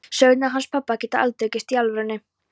Sögurnar hans pabba geta aldrei gerst í alvörunni.